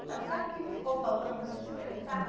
Então, sabe o que que ficou faltando a gente perguntar?